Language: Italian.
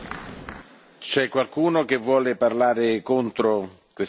C'è qualcuno che vuole parlare contro questa proposta?